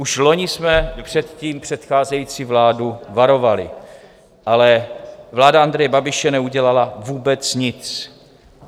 Už loni jsme před tím předcházející vládu varovali, ale vláda Andreje Babiše neudělala vůbec nic.